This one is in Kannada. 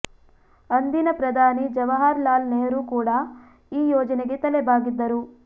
ಅಂದಿನ ಪ್ರಧಾನಿ ಜವಾಹರ್ ಲಾಲ್ ನೆಹ್ರೂ ಕೂಡಾ ಈ ಯೋಜನೆಗೆ ತಲೆ ಬಾಗಿದ್ದರು